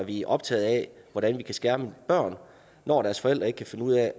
vi optaget af hvordan vi kan skærme børn når deres forældre ikke kan finde ud af